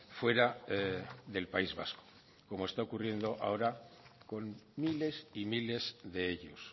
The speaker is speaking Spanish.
fuera del país vasco como está ocurriendo ahora con miles y miles de ellos